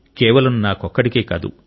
కేవలం నాకొక్కడికే కాదు